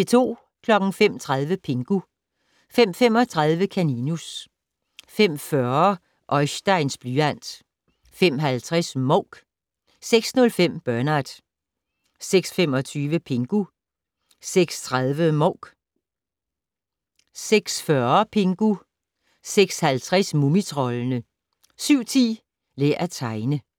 05:30: Pingu 05:35: Kaninus 05:40: Oisteins blyant 05:50: Mouk 06:05: Bernard 06:25: Pingu 06:30: Mouk 06:40: Pingu 06:50: Mumitroldene 07:10: Lær at tegne